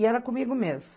E era comigo mesmo.